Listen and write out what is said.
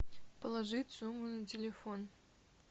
положить сумму на телефон